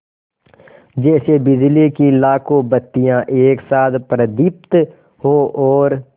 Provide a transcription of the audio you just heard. जैसे बिजली की लाखों बत्तियाँ एक साथ प्रदीप्त हों और